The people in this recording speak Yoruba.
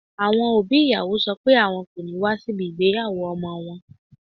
Àwọn òbí ìyàwó sọ pé wọn kò ní wá síbi ìgbéyàwó ọmọ wọn